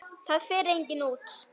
Það fer enginn út!